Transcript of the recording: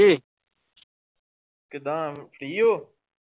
ਕਿੱਦਾ free ਹੋ?